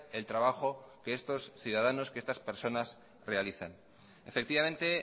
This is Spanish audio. el trabajo que estos ciudadanos realizan efectivamente